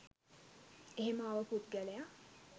එහෙම ආව පුද්ගලයා